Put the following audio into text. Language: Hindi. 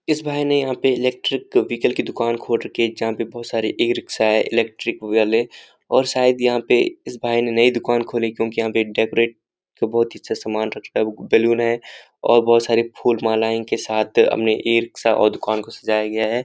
इस भाई ने यहां पे इलेक्ट्रिक व्हीकल की दुकान खोल रखी है। जहां पर बहोत सारी ई रिक्शा है इलेक्ट्रिक वाले और शायद यहां पे इस भाई ने नई दुकान खोली है क्योंकि यहां पे डेकोरेट का बहोत ही अच्छा सामान रखता है बलून है और बहोत सारे फूल मालाएं के साथ हमने इ रिक्शा साथ और दुकान को सजाया गया है।